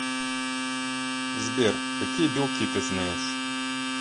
сбер какие белки ты знаешь